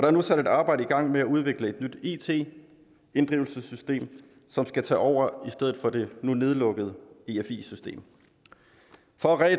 er nu sat et arbejde i gang med at udvikle et nyt it inddrivelsessystem som skal tage over efter det nu lukkede efi system for at